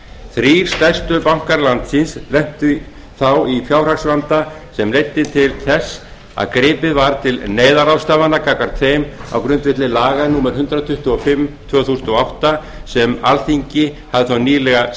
þrír stærstu bankar landsins lentu þá í fjárhagsvanda sem leiddi til þess að gripið var til neyðarráðstafana gagnvart þeim á grundvelli laga númer hundrað tuttugu og fimm tvö þúsund og átta sem alþingi hafði þá nýlega